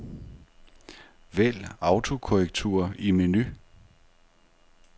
Vælg autokorrektur i menu.